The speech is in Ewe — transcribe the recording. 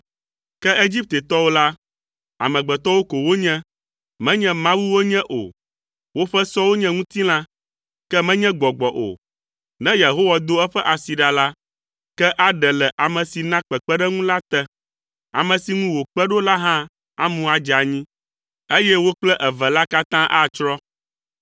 Ke Egiptetɔwo la, amegbetɔwo ko wonye, menye Mawu wonye o. Woƒe sɔwo nye ŋutilã, ke menye gbɔgbɔ o. Ne Yehowa do eƒe asi ɖa la, ke aɖe le ame si na kpekpeɖeŋu la te; ame si ŋu wòkpe ɖo la hã amu adze anyi, eye wo kple eve la katã atsrɔ̃.